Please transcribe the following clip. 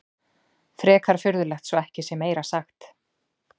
Frekar furðulegt svo ekki sé meira sagt.